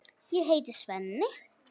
Ég heiti Svenni.